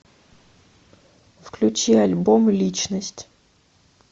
включи альбом личность